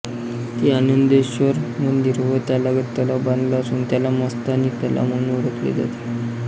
श्री आनंदेश्वर मंदिर व त्यालगत तलाव बांधला असून त्याला मस्तानी तलाव म्हणून ओळखले जाते